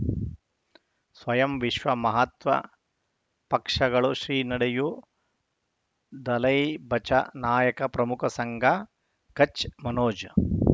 ಸ್ವಯಂ ವಿಶ್ವ ಮಹಾತ್ಮ ಪಕ್ಷಗಳು ಶ್ರೀ ನಡೆಯೂ ದಲೈ ಬಚೌ ನಾಯಕ ಪ್ರಮುಖ ಸಂಘ ಕಚ್ ಮನೋಜ್